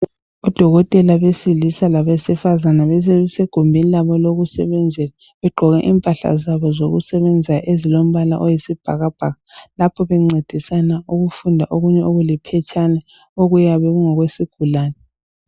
Odokotela besilisa labesifazana bese gumbini labo lokusebenzela. Begqoke impahla zabo zokusebenza ezilombala oyisibhakabhaka, lapho bencedisana ukufunda okunye okuliphetshana okuyabe kungokwesigulane.